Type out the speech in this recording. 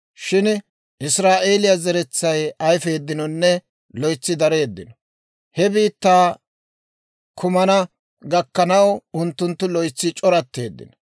shin Israa'eeliyaa zeretsay ayfeeddinonne loytsi dareeddino; he biittaa kumana gakkanaw unttunttu loytsi c'oratteeddino.